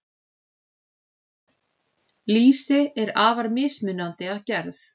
Lýsi er afar mismunandi að gerð.